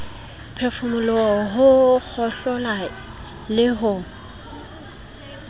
phefumoloho ho kgohlola le ho